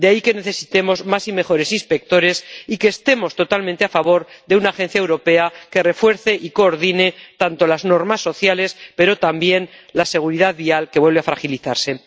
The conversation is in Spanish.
De ahí que necesitemos más y mejores inspectores y que estemos totalmente a favor de una agencia europea que refuerce y coordine las normas sociales, pero también la seguridad vial, que vuelve a fragilizarse.